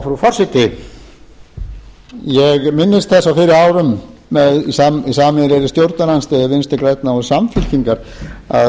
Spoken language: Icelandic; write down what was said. frú forseti ég minnist þess á fyrri árum með sameiginlegri stjórnarandstöðu vinstri grænna og samfylkingar að